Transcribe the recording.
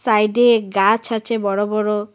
সাইডে গাছ আছে বড় বড়।